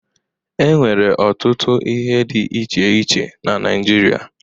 E nwere ọtụtụ ihe dị iche iche na Naịjirịa.